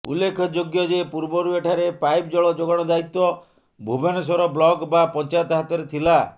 ଉଲ୍ଲେଖଯୋଗ୍ୟ ଯେ ପୂର୍ବରୁ ଏଠାରେ ପାଇପ୍ ଜଳ ଯୋଗାଣ ଦାୟିତ୍ୱ ଭୁବନେଶ୍ୱର ବ୍ଲକ ବା ପଞ୍ଚାୟତ ହାତରେ ଥିଲା